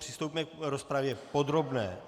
Přistoupíme k rozpravě podrobné.